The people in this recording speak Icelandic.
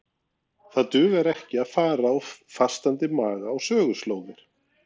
Það dugar ekki að fara á fastandi maga á söguslóðir.